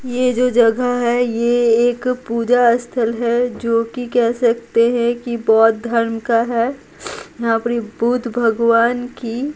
ये जो जगह है ये एक पूजा स्थल है जो कि कह सकते है कि बौद्ध धर्म का है यहाँ पर बुद्ध भगवान की --